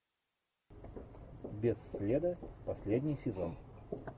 без следа последний сезон